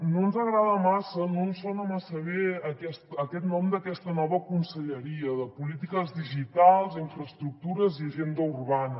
no ens agrada massa no ens sona massa bé aquest nom d’aquesta nova conselleria de polítiques digitals infraestructures i agenda urbana